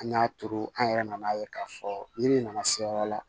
An y'a turu an yɛrɛ nana ye k'a fɔ ni min nana se yɔrɔ la